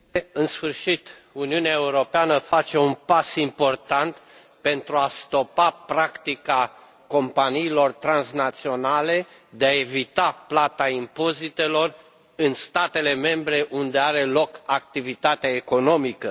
În sfârșit, Uniunea Europeană face un pas important pentru a stopa practica companiilor transnaționale de a evita plata impozitelor în statele membre unde are loc activitatea economică.